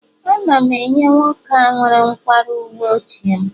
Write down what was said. Ana m enye nwoke a nwere nkwarụ uwe ochie m